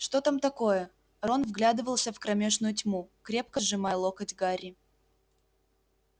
что там такое рон вглядывался в кромешную тьму крепко сжимая локоть гарри